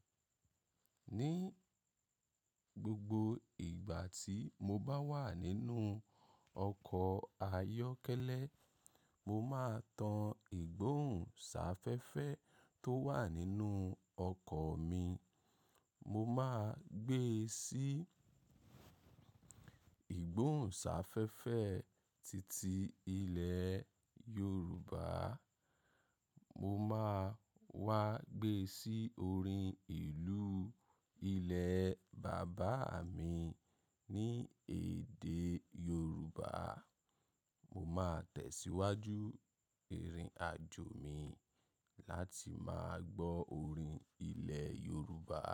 Ní gbogbo ìgbà tí mo bá wà nínú ọkọ̀ ayọ́kẹ́lẹ́, mo máa tan ìgbóhùn sáfẹ́fẹ́ tó wà nínú ọkọ̀ mi. Mo máa gbé e sí ìgbóhùn sáfẹ́fẹ́ titi ilẹ̀ Yorùbá. Mo máa wá gbé sí orin ìlú ilẹ̀ bàbá mi ní èdè Yorùbá. Mo máa tẹ̀síwájú ìrìn-àjò mi láti máa gbọ́ orin ilẹ̀ Yorùbá.